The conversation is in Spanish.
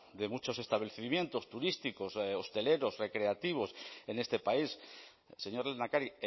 de muchos establecimientos turísticos hosteleros recreativos en este país señor lehendakari